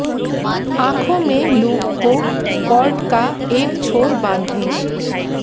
आंखों में लूप को कॉर्ड का एक छोर बांधें